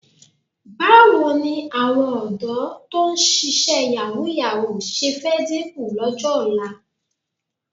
Báwo ni àwọn ọ̀dọ́ tó ń ṣíṣe yàwúù-yàwúù ṣe fẹ́ dínkù lọ́jọ́ ọ̀la?